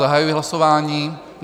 Zahajuji hlasování.